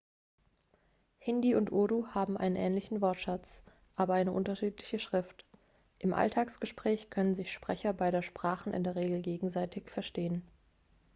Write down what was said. hindi und urdu haben einen ähnlichen wortschatz aber eine unterschiedliche schrift im alltagsgespräch können sich sprecher beider sprachen in der regel gegenseitig verstehen